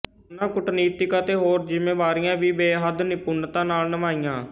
ਉਨ੍ਹਾਂ ਕੂਟਨੀਤਕ ਅਤੇ ਹੋਰ ਜ਼ਿੰਮੇਵਾਰੀਆਂ ਵੀ ਬੇਹੱਦ ਨਿਪੁੰਨਤਾ ਨਾਲ ਨਿਭਾਈਆਂ